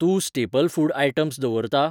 तूं staple food items दवरता ?